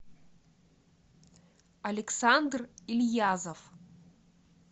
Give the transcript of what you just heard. александр ильязов